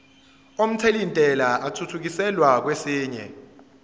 omthelintela athuthukiselwa kwesinye